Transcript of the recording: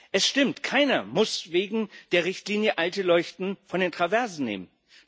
Es stimmt Keiner muss wegen der Richtlinie alte Leuchten von den Traversen nehmen.